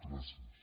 gràcies